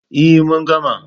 E, mun gama.